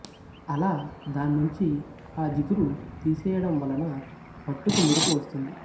అలా దాన్నుంచి ఆ జిగురు తీసేయడం వలన పట్టుకు మెరుపు వస్తుంది